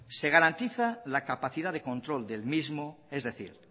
se garantiza la capacidad de control del mismo es decir